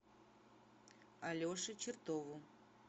алеше чертову